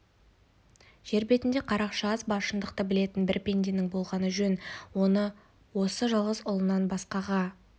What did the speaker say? жер бетінде қарақшы аз ба шындықты білетін бір пенденің болғаны жөн оны осы жалғыз ұлынан басқаға